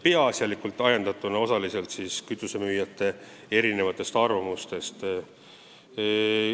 Peaasjalikult olid need ajendatud mitmesugustest kütusemüüjate arvamustest.